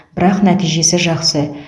бірақ нәтижесі жақсы